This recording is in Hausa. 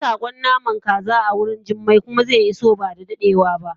nayi sakon namar kaza awurin jummai kuma ze iso bada dadewa ba